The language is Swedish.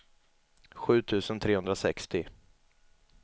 sju tusen trehundrasextio